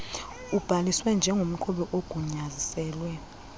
ubhaliswe njengomqhubi ogunyaziselwe